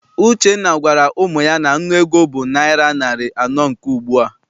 Uchenna gwara ụmụ ya na nnu ego bụ naịra narị anọ nke ugbua.